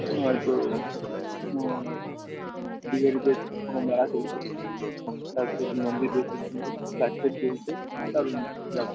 হয়তো ওহ বিহারি দের কোনো মেলা চলছে চারপাশে একটিমন্দির দেখতে সুন্দর লাইট ফাইট জ্বলছে দারুন জায়গা।